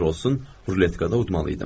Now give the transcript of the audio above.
Nə olur olsun, ruletkada udmalıydım.